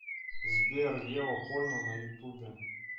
сбер ева польна на ютубе